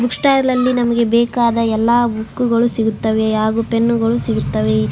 Bookstall ಅಲ್ಲಿ ನಮಗೆ ಬೇಕಾದ ಎಲ್ಲ ಬುಕ್ಕು ಗಳು ಸಿಗುತ್ತದೆ ಹಾಗು ಪೆನ್ನು ಗಳು ಸಿಗುತ್ತದೆ.